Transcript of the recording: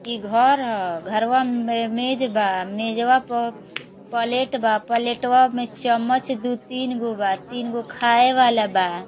ई घर ह। घरवा में मेज बा। मेजवा प पलेट बा। पलेटवा में चमच दु तीन गो बा। तीन गो खाए वाला बा।